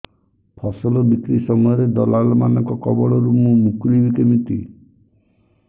ଫସଲ ବିକ୍ରୀ ସମୟରେ ଦଲାଲ୍ ମାନଙ୍କ କବଳରୁ ମୁଁ ମୁକୁଳିଵି କେମିତି